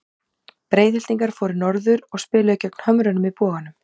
Breiðhyltingar fóru norður og spiluðu gegn Hömrunum í Boganum.